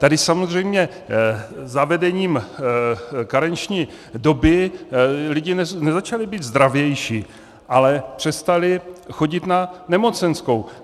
Tady samozřejmě zavedením karenční doby lidé nezačali být zdravější, ale přestali chodit na nemocenskou.